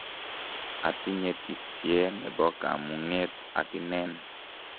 atinye tisie nebo kamung'et ak inen.